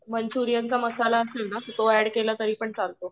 मंच्युरियनका मसाला असेल ना ते ऍड केला ना तरी पण चालतो